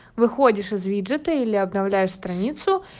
выходишь из виджета или обновляешь страницу